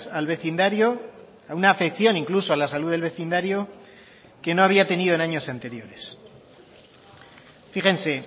al vecindario a una afección incluso a la salud del vecindario que no había tenido en años anteriores fíjense